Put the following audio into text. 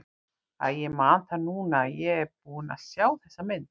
Æi, ég man það núna að ég er búinn að sjá þessa mynd.